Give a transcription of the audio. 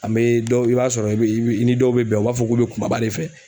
An be dɔw, i b'a sɔrɔ i ni dɔw be bɛn u b'a fɔ ku be kumaba de fɛ.